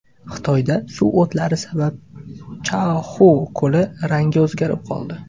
Xitoyda suv o‘tlari sabab Chaoxu ko‘li rangi o‘zgarib qoldi .